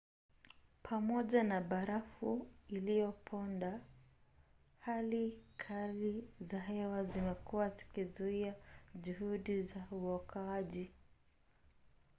pamoja na barafu iliyoponda hali kali za hewa zimekuwa zikizuia juhudi za uokoaji